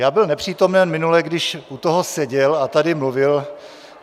Já byl nepřítomen minule, když u toho seděl a tady mluvil.